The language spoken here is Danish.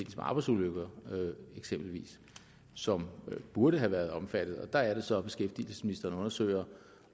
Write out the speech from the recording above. arbejdsulykker eksempelvis som burde have været omfattet der er det så beskæftigelsesministeren undersøger